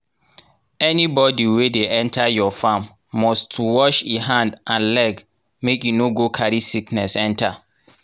anybody wey dey enter your farm must to wash e hand and leg make e no go carry sickness enter